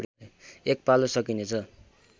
एक पालो सकिनेछ